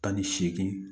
Tan ni seegin